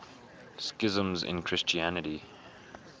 schisms in christianity